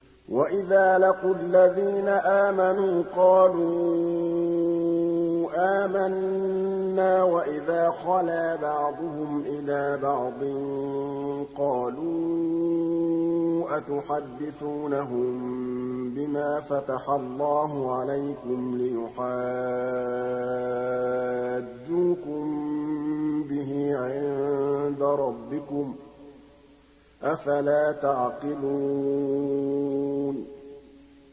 وَإِذَا لَقُوا الَّذِينَ آمَنُوا قَالُوا آمَنَّا وَإِذَا خَلَا بَعْضُهُمْ إِلَىٰ بَعْضٍ قَالُوا أَتُحَدِّثُونَهُم بِمَا فَتَحَ اللَّهُ عَلَيْكُمْ لِيُحَاجُّوكُم بِهِ عِندَ رَبِّكُمْ ۚ أَفَلَا تَعْقِلُونَ